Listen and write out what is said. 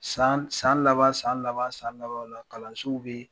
San, san laban, san laban, san labanw la kalansow be